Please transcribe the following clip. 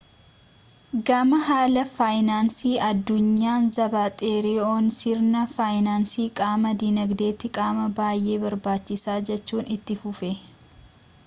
gama haala faayinaansii addunyaan zaapaateeroon sirni faayinaansii qaama dinagdeeti qaama baayyee barbaachisaa jechuun itti fufe